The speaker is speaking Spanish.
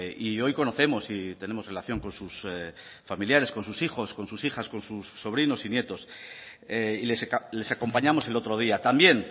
y hoy conocemos y tenemos relación con sus familiares con sus hijos con sus hijas con sus sobrinos y nietos y les acompañamos el otro día también